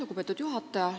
Lugupeetud juhataja!